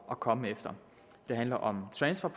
at komme efter det handler om transfer